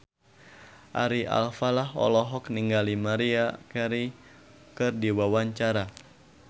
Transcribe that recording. Ari Alfalah olohok ningali Maria Carey keur diwawancara